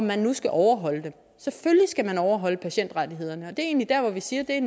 man nu skal overholde dem selvfølgelig skal man overholde patientrettighederne og det egentlig der hvor vi siger at